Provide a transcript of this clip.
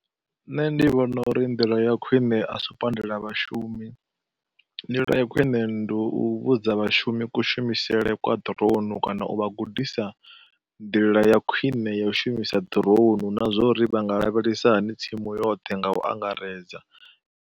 Nṋe ndi vhona uri ndila ya khwine a si u pandela vhashumi, ndila ya khwine ndi u vhudza vhashumi kushumisele kwa drone kana u vha gudisa ndila ya khwine ya u shumisa drone na zwa uri vha nga lavhelesa hani tsimu yoṱhe nga u angaredza.